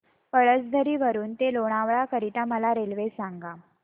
पळसधरी वरून ते लोणावळा करीता मला रेल्वे सांगा